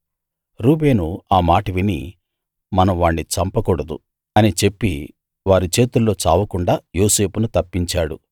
రూబేను ఆ మాట విని మనం వాణ్ణి చంపకూడదు అని చెప్పి వారి చేతుల్లో చావకుండా యోసేపును తప్పించాడు